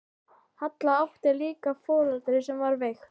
Halla átti líka foreldri sem var veikt.